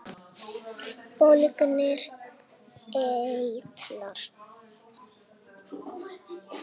Bólgnir eitlar